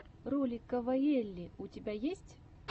ролик кавайэлли у тебя есть